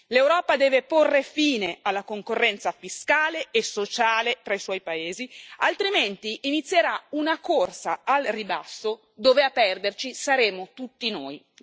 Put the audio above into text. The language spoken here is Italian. L'Europa deve porre fine alla concorrenza fiscale e sociale tra i suoi paesi, altrimenti inizierà una corsa al ribasso dove a perderci saremo tutti noi.